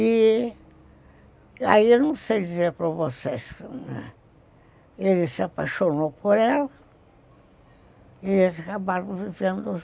E aí, não sei dizer para vocês, ele se apaixonou por ela e eles acabaram vivendo jun